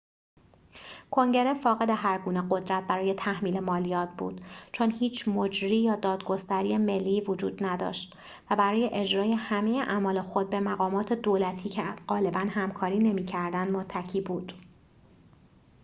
کنگره فاقد هرگونه قدرت برای تحمیل مالیات بود چون هیچ مجری یا دادگستری ملی‌ای وجود نداشت و برای اجرای همه اعمال خود به مقامات دولتی که غالباً همکاری نمی‌کردند متکی بود